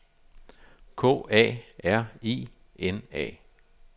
K A R I N A